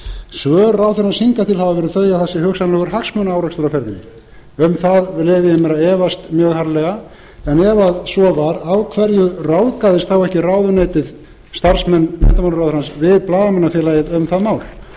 svör ráðherrans hingað til hafa verið þau að það sé hugsanlegur hagsmunaárekstur á ferðinni um það leyfi ég mér að efast mjög harðlega en ef svo var af hverju ráðgaðist þá ekki ráðuneytið starfsmenn menntamálaráðherrans við blaðamannafélagið um það mál